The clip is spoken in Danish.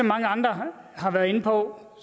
mange andre har været inde på